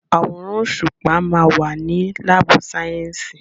Àwòrán òṣùpá ma wà ní lábù sàyẹ́sì.